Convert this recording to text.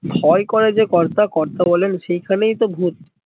ভয় করে যে কর্তা কর্তা বলেন সেই খানেই তো ভুত